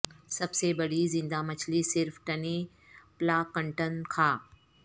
سب سے بڑی زندہ مچھلی صرف ٹنی پلاکنٹن کھا